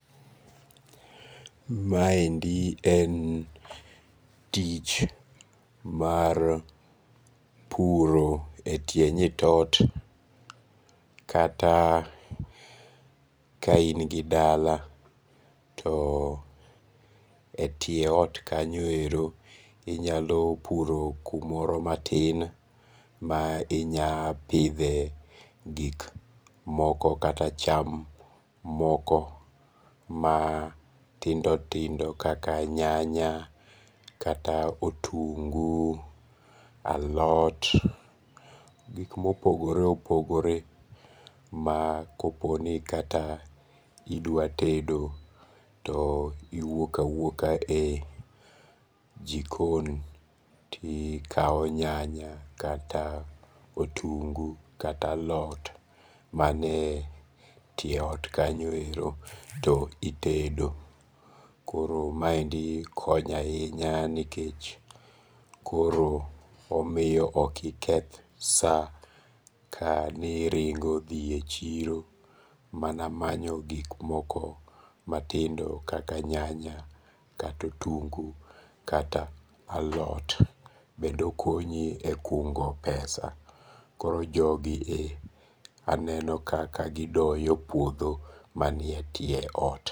Maendi en tich mar puro e tie nyit ot kata ka in gi dala to e tie ot kanyo ero, inyalo puro kamoro matin, ma inya pidhe gik moko kata cham moko matindo tindo kaka nyanya, kata otungu, alot gik ma opogore opogore. Ma koponi kata idwa tedo to iwuok awuoka e jikon to ikao nyanya kata otungu, kata alot ma nie tie ok kanyo, to itedo. Koro maendi konyo ahinya, nikech koro omiyo ok iketh sa ka ni iringo dhi e chiro mana manyo gik moko matindo kaka nyanya, kata otungu, kata alot. Bende okonyi e kungo pesa. Koro jogi e, aneno kaka gidoyo puodho mani e tie ot.